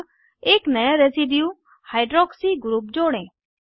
अब एक नया रेसिड्यू हाइड्रॉक्सी ग्रुप जोड़ें